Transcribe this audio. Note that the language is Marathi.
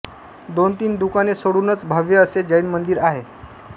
दोन तीन दुकाने सोडूनच भव्य असे जैन मंदिर आहे